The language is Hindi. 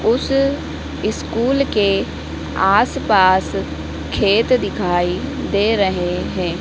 उस इस्कूल के आस पास खेत दिखाई दे रहे हैं।